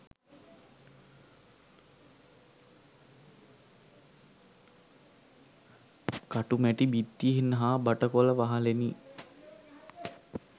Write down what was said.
කටුමැටි බිත්තියෙන් හා බටකොළ වහලෙනි